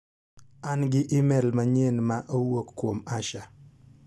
An gi imel manyien ma owuok kuom Asha.